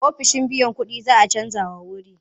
Ofishin biyan kuɗin za a canjawa wuri.